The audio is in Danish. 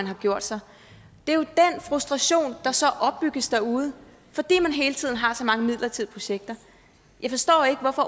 har gjort sig det er jo den frustration der så opbygges derude fordi man hele tiden har så mange midlertidige projekter jeg forstår ikke hvorfor